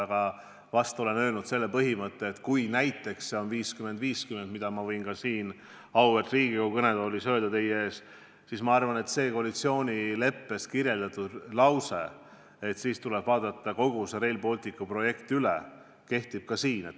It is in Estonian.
Aga ehk olen ma öelnud välja sellise põhimõtte, et kui see on näiteks 50 : 50 – mida ma võin ka siin auväärt Riigikogu kõnetoolis öelda –, siis ma arvan, et tuleb lähtuda koalitsioonileppes olevast lausest, mille kohaselt kogu Rail Balticu projekt tuleb üle vaadata.